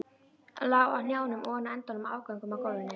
Lá á hnjánum ofan á endum og afgöngum á gólfinu.